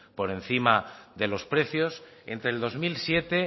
por encima de los precios entre el dos mil siete